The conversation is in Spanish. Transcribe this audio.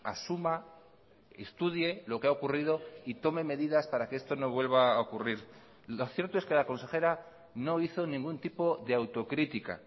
asuma estudie lo que ha ocurrido y tome medidas para que esto no vuelva a ocurrir lo cierto es que la consejera no hizo ningún tipo de autocrítica